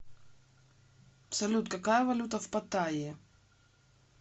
салют какая валюта в паттайе